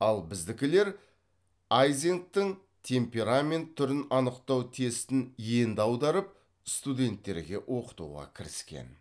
ал біздікілер айзенктің темперамент түрін анықтау тестін енді аударып студенттерге оқытуға кіріскен